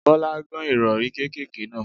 Bọ́lá gán Ìrọ̀rí kékèké náà.